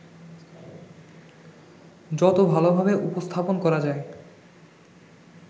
যত ভালোভাবে উপস্থাপন করা যায়